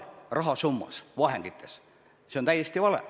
Et rahasummat, vahendeid on vähendatud, on täiesti vale.